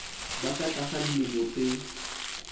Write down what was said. ba ka tlasa dilemo tse